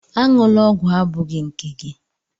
Aṅụla ọgwụ abụghị nke gị!